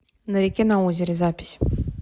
на реке на озере запись